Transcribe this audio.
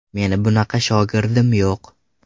Meni bunaqa shogirdim yo‘q.